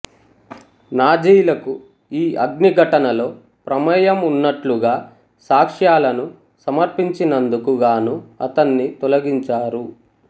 నాజీలకు ఈ అగ్నిఘటనలో ప్రమేయం ఉన్నట్లుగా సాక్ష్యాలను సమర్పించినందుకు గాను అతన్ని తొలగించారు